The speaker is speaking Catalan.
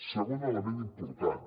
segon element important